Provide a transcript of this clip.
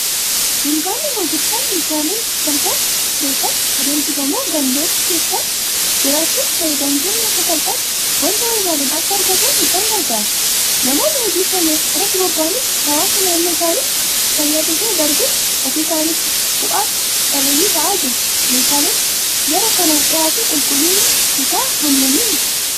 Dukkaanni gurgurtaan meeshaalee sasalphoo keessatti adeemsifamu gandoota keessa jiraachuun fayyadamtoonni akka salphaatti waanta barbaadan akka argatan isaan gargaara. Namoonni hojii kana irratti bobba'anis hawaasa naannoo isaanii fayyaduu bira darbee ofii isaaniitiifis bu'a qabeeyyii ta'aa jiru. Meeshaaleen jara kanaan dhiyaatu qulqullinni isaa hammami?